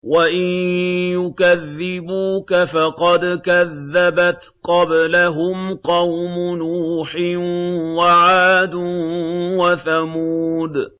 وَإِن يُكَذِّبُوكَ فَقَدْ كَذَّبَتْ قَبْلَهُمْ قَوْمُ نُوحٍ وَعَادٌ وَثَمُودُ